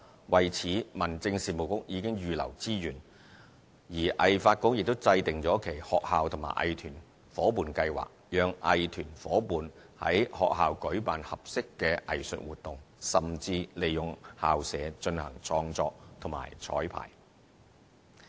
為此，民政事務局已預留資源，而藝發局亦制訂了其"學校與藝團伙伴計劃"，讓藝團夥伴於學校舉辦合適的藝術活動，甚至利用校舍進行創作及綵排。